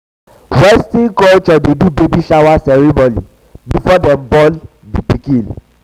western culture dey do baby shower ceremony before dem born before dem born di pikin